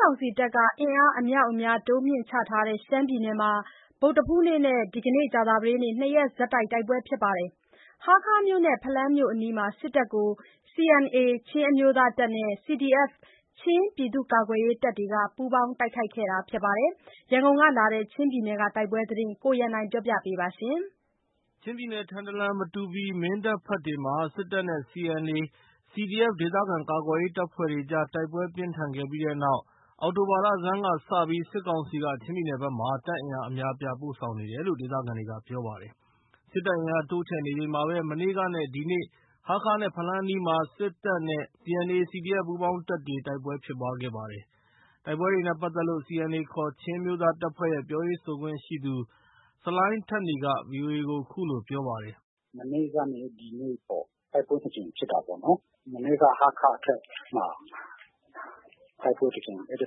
ကောင်စီတပ်က အင်အားအမြောက်အများတိုးမြှင့်နေတဲ့ ချင်းပြည်နယ်မှာ ဗုဒ္ဓဟူးနေ့နဲ့ ဒီနေ့ ကြာသပတေးနေ့ နှစ်ရက်ဆက်တိုက် တိုက်ပွဲဖြစ်ခဲ့ပါတယ်။ ဟားခါးမြို့နဲ့ဖလမ်းမြို့အနီးမှာ စစ်တပ်ကိုCNA ချင်းအမျိုးသားတပ်နဲ့CDF ချင်းပြည်သူ့ကာကွယ်ရေးတပ်တွေက ပူးပေါင်းတိုက်ခိုက်ခဲ့တာပါ။ ရန်ကုန်ကလာတဲ့ ချင်းပြည်နယ်က တိုက်ပဲသတင်းကို ကိုရန်နိုင်က တင်ပြပေးထားပါတယ်။ ချင်းပြည်နယ်၊ ထန်တလန်၊ မတူပီ၊ မင်းတပ်ဘက်တွေမှာ စစ်တပ်နဲ့ CNA၊ CDF ဒေသခံကာကွယ်ရေး တပ်ဖွဲ့တွေအကြား တိုက်ပွဲပြင်းထန်ခဲ့ပြီးတဲ့နောက် အောက်တိုဘာလဆန်းကစပြီး စစ်ကောင်စီက ချင်းပြည်နယ်ဘက်မှာ တပ်အင်အားအများအပြား ပို့ဆောင်နေတယ်လို့ ဒေသခံတွေကပြောပါတယ်။ စစ်တပ်အင်အား တိုးချဲ့နေချိန်မှာပဲ မနေ့ကနဲ့ ဒီနေ့ ဟားခါးနဲ့ ဖလမ်းအနီးမှာ စစ်နဲ့ CNA၊ CDF ပူးပေါင်းတပ်တွေ တိုက်ပွဲဖြစ်ခဲ့ပါတယ်။ တိုက်ပွဲတွေနဲ့ပတ်သက်လို့ CNA ခေါ် ချင်းအမျိုးသားတပ်ဖွဲ့ရဲ့ ပြောရေးဆိုခွင့်ရှိသူ ဆလိုင်းထက်နီက VOA ကို ခုလိုပြောပါတယ်။ “မနေ့ကနဲ့ ဒီနေ့ပေါ့။ တိုက်ပွဲ နှစ်ကြိမ်ဖြစ်တာပေါ့နော်။ မနေ့က ဟားခါးအထွက်မှာ တိုက်ပွဲတကြိမ်၊ အဲဒီ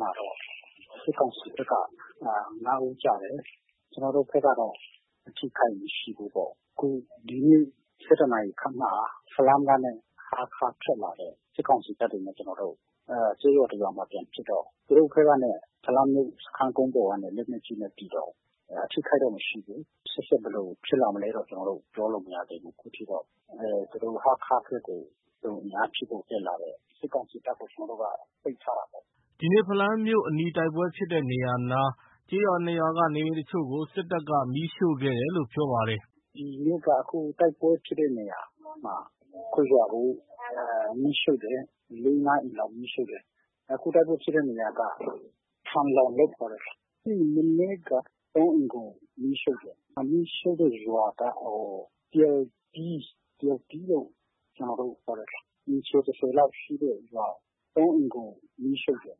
မှာတော့ စစ်ကောင်စီဘက်က ၅ ဦးကျတယ်။ ကျနော်တို့ဘက်ကတော့ အထိအခိုက်မရှိဘူးပေါ့။ ခု ဒီနေ့ ၁၁ နာရီခန့်မှာ ဖလမ်းက စစ်ကောင်စီတပ်တွေနဲ့ ကျနော်တို့ ကျေးရွာတရွာမှာ ပြန်ဖြစ်တော့ သူတို့ဘက်ကနေ ဖလမ်းမြို့စခန်းကုန်းပေါ်ကနေ လက်နက်ကြီးနဲ့ပစ်တော့ အထိအခိုက်တော့မရှိဘူး။ ရှေ့ဆက် ဘယ်လိုဖြစ်လာမလဲတော့ ပြောလို့မရသေးဘူး။ အခုထိတော့ သူတို့ ဟားခါးဘက်ကို အင်အားဖြည့်ဖို့တက်လာတဲ့ စစ်ကောင်စီတပ်ကို ကျနော်တို့က ပိတ်ထားတာပေါ့။” ဒီနေ့ ဖလမ်းမြို့အနီး တိုက်ပွဲဖြစ်တဲ့နေရာနား ကျေးရွာနှစ်ရွာက နေအိမ်တချို့ကိုလည်း စစ်တပ်က မီးရှို့ခဲ့တယ်လို့ ပြောပါတယ်။ “ဒီနေ့က တိုက်ပွဲဖြစ်တဲ့နေရာမှာ ရွာကိုမီးရှို့တယ်။ လေး ငါးအိမ်လောက် မီးရှို့တယ်။ အခုတိုက်ပွဲဖြစ် တဲ့နေရာက ထလန်ရောန်လို့ ခေါ်တယ်။ မနေ့က သုံးအိမ်ကို မီးရှို့တယ်။ မီးရှို့တဲ့ရွာက ရီလ်သီး။ ရီလ်သီးလို့ ကျနော်တို့ ခေါ်တယ်။ အိမ်ခြေ ၁၀ လောက်ရှိတဲ့ရွာ၊ ၃ အိမ်ကို မီးရှို့တယ်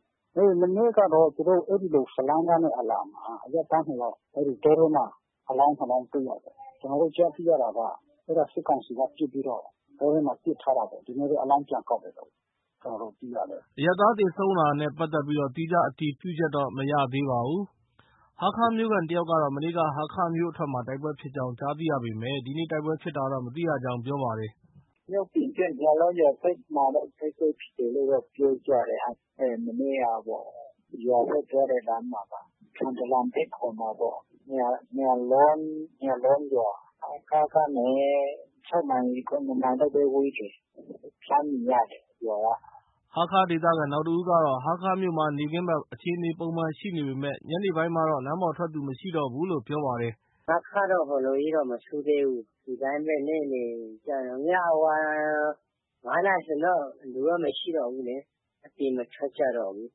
။ မနေ့ကတော့ သူတို့ အဲဒီ ဖလမ်းကနေ အလာမှာ အရပ်သားနှစ်ယောက်၊ တောထဲမှာ အလောင်းနှစ်လောင်းတွေ့ ရတယ်။ ကျနော်တို့ ကြားသိရတာက အဲဒါ စစ်ကောင်စီက ပစ်ပြီးတော့ တောထဲမှာ ပစ်ထားတာပေါ့။ ဒီနေ့ အလောင်းပြန်ကောက်တယ်လို့ သိရတယ်။” အရပ်သား သေဆုံးတာနဲ့ပတ်သက်ပြီး သီးခြားအတည်ပြုချက်တော့ မရသေးပါဘူး။ ဟားခါးမြို့ခံတယောက်ကတော့ မနေ့က ဟားခါးမြို့အထွက်မှာ တိုက်ပွဲဖြစ်ကြောင်း ကြားသိရပေမယ့် ဒီနေ့ တိုက်ပွဲဖြစ်ပွားတာတော့ မသိရကြောင်း ပြောပါတယ်။ “မြို့ပြင်ဘက် ယာလောန်ရွာဘက်မှာတော့ တိုက်ပွဲဖြစ်တယ်လို့တော့ ပြောကြတယ်။ မနေ့ကပေါ့။ ရွာဘက် သွားတဲ့လမ်းမှာပါ။ ထန်တလန်ဘက်ခေါ်မှာပေါ့။ ယာလောန်၊ ယာလောန်ရွာ။ ဟားခါးကနေ ၆ မိုင်၊ ၇ မိုင်လောက်ပဲဝေးတယ်။ လှမ်းမြင်ရတယ်ရွာက။ ” ဟားခံဒေသခံ နောက်တဦးကတော့ ဟားခါးမြို့မှာ နေ့ခင်းဘက် အခြေအနေပုံမှန်ရှိနေပေမဲ့ ညနေပိုင်းမှာတော့ လမ်းပေါ်ထွက်သူမရှိတော့ဘူးလို့ ပြောပြပါတယ်။ “ဟားခါးတော့ ဟိုလိုကြီးတော့ မဆိုးသေးဘူး။ ဒီတိုင်းပဲ နေ့လည်ကျရင်တော့။ ညပိုင်း ၅ နာရီဆိုရင်တော့ လူကမရှိတော့ဘူး။ အပြင်မထွက်ကြတော့ဘူး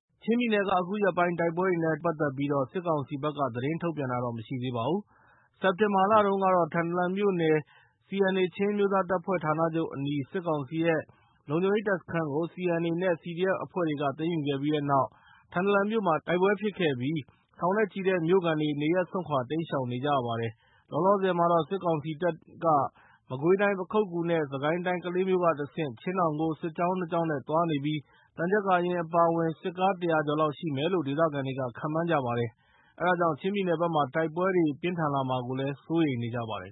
။” ချင်းပြည်နယ်က အခုရက်ပိုင်း တိုက်ပွဲတွေနဲ့ပတ်သက်ပြီး စစ်ကောင်စီဘက်က သတင်းထုတ်ပြန်တာ မရှိသေးပါဘူး။ စက်တင်ဘာလတုန်းက ထန်တလန်မြို့နယ် CNA ချင်းအမျိုးသားတပ်ဖွဲ့ဌာနချုပ်အနီး စစ်ကောင်စီရဲ့ လုံလဲရ်တပ်စခန်းကို CNA နဲ့ CDF အဖွဲ့တွေက သိမ်းယူခဲ့ပြီးတဲ့နောက် ထန်တလန်မြို့မှာ တိုက်ပွဲဖြစ်ခဲ့ပြီး ထောင်နဲ့ချီတဲ့မြို့ခံတွေ နေရပ်စွန့်ခွာ တိမ်းရှောင်နေကြရပါတယ်။ လောလောဆယ်မှာတော့ စစ်ကောင်စီတပ်က မကွေးတိုင်း၊ ပခုက္ကူနဲ့ စစ်ကိုင်းတိုင်း၊ ကလေးမြို့ က တဆင့် ချင်းတောင်ကို စစ်ကြောင်း နှစ်ကြောင်းနဲ့ သွားနေပြီး သံချပ်ကာယာဉ်အပါအဝင် စစ်ကား ၁၀၀ ကျော်လောက်ရှိမယ်လို့ ဒေသခံတွေက ခန့်မှန်းကြပါတယ်။ အဲဒါကြောင့် ချင်းပြည်နယ်ဘက်မှာ တိုက်ပွဲတွေ ပြင်းထန်လာမှာကို စိုးရိမ်နေကြပါတယ်